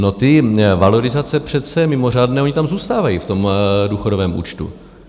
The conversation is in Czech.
No, ty valorizace přece mimořádné, ony tam zůstávají v tom důchodovém účtu.